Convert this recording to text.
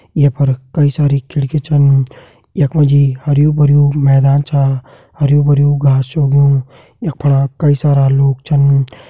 ये फर कई सारी खिड़की छन यखमा जी हरयु-भरयू मैदान च हरयु-भरयू घास च उगयुं यखमा कई सारा लोग छन।